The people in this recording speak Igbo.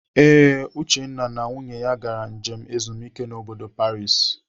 Ee, Uchenna na nwunye ya gara njem ezumike n'bodo Paris.